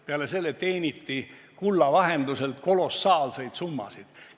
Peale selle teeniti kulla vahenduselt kolossaalseid summasid.